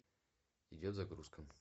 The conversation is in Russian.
идет загрузка